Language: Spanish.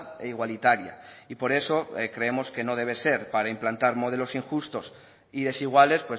e igualitaria y por eso creemos que no debe ser para implantar modelos injustos y desiguales